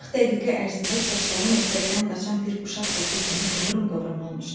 40 dəqiqə ərzində saçları məktəbdən qaçan bir uşaq saçı kimi qıvrım-qıvrım olmuşdu.